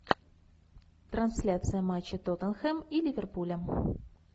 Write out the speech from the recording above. трансляция матча тоттенхэм и ливерпуля